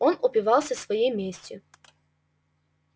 он упивался своей местью